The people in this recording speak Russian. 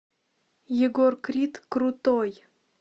егор крид крутой